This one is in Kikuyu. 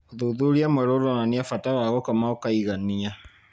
ũthuthuria mwerũ ũronania bata wa gũkoma ũkaigania.